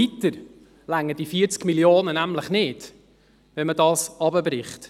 Weiter reichen diese 40 Mio. Franken nämlich nicht, wenn man sie herunterbricht.